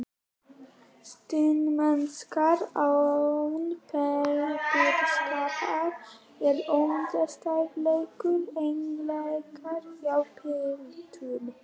Snyrtimennska án pempíuskapar er ómótstæðilegur eiginleiki hjá piltum.